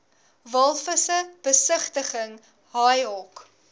walvisse besigtiging haaihok